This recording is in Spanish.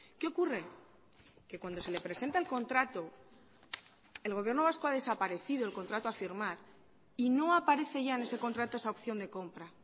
qué ocurre que cuando se le presenta el contrato el gobierno vasco ha desaparecido el contrato a firmar y no aparece ya en ese contrato esa opción de compra